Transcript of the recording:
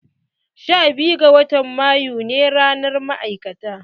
Sha biyu ga watan mayu ne ranar ma'aikata.